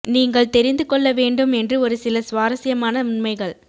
நீங்கள் தெரிந்து கொள்ள வேண்டும் என்று ஒரு சில சுவாரஸ்யமான உண்மைகள்